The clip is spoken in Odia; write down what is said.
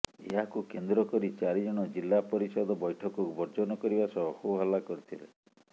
ଏହାକୁ କେନ୍ଦ୍ର କରି ଚାରି ଜଣ ଜିଲ୍ଲାପରିଷଦ ବୈଠକକୁ ବର୍ଜନ କରିବା ସହ ହୋ ହଲ୍ଲା କରିଥିଲେ